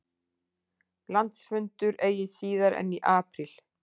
Landsfundur eigi síðar en í apríl